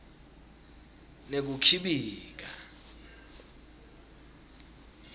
nekukhibika